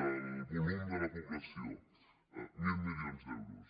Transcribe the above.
del volum de la població mil milions d’euros